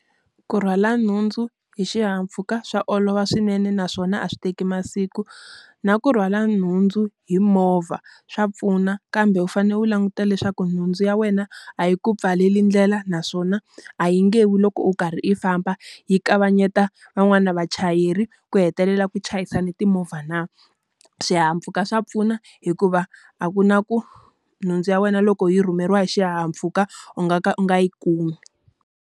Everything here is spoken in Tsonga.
Ku rhwala nhundzu hi xihahampfhuka swa olova swinene naswona a swi teka masiku. Na ku rhwala nhundzu hi movha swa pfuna kambe u fanele u languta leswaku nhundzu ya wena, a yi ku pfaleli ndlela naswona a yi nge wi loko u karhi i famba. Yi kavanyeta van'wana na vachayeri ku hetelela ku chayisane timovha na? Swihahampfhuka swa pfuna hikuva a ku na ku nhundzu ya wena loko yi rhumeriwa hi xihahampfhuka u nga ka u nga yi kumi.